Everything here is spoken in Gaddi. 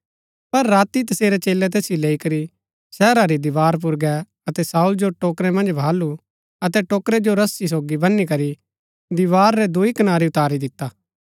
पर राती तसेरै चेलै तैसिओ लैई करी शहरा री दीवार पुर गै अतै शाऊल जो टोकरै मन्ज बहालु अतै टोकरै जो रस्सी सोगी बनी करी दीवार रै दूई कनारी उतारी दिता